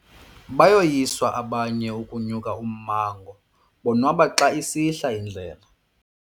Bayoyiswa abanye ukunyuka ummango bonwaba xa isihla indlela.